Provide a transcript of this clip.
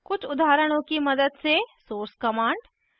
कुछ उदाहरणों की मदद से source command